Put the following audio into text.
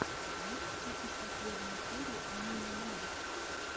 можешь включить последнюю серию амины новой